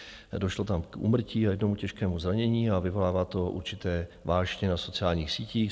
Došlo tam k úmrtí a jednomu těžkému zranění a vyvolává to určité vášně na sociálních sítích.